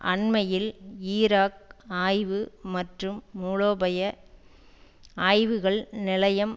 அண்மையில் ஈராக் ஆய்வு மற்றும் மூலோபய ஆய்வுகள் நிலையம்